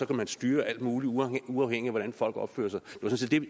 kan styre alt muligt uafhængigt af hvordan folk opfører sig